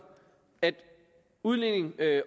at udligning